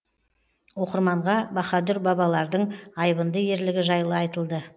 оқырманға баһадүр бабалардың айбынды ерлігі жайлы айтылды